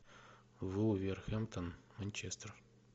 вулверхэмптон манчестер